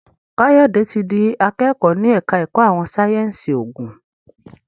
Kayode tí dì akẹkọ ní ẹka ẹkọ àwọn sáyẹnsì oògùn.